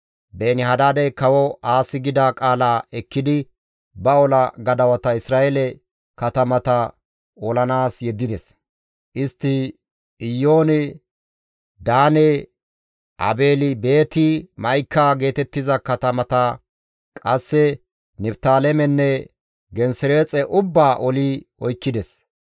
Beeni-Hadaadey kawo Aasi gida qaala ekkidi ba ola gadawata Isra7eele katamata olanaas yeddides; istti Iyoone, Daane, Aabeeli-Beeti-Ma7ika geetettiza katamata, qasse Niftaalemenne Gensereexe ubbaa oli oykkides.